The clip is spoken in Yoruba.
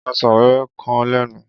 Ọsàn wéwé kan lẹ́nu.